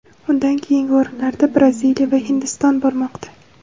Undan keyingi o‘rinlarda Braziliya va Hindiston bormoqda.